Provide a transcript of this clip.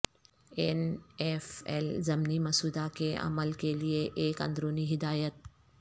N F L ضمنی مسودہ کے عمل کے لئے ایک اندرونی ہدایت